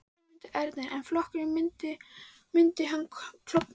Sigmundur Ernir: En flokkurinn, myndi hann klofna?